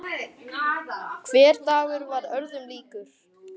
Hver dagur varð öðrum líkur.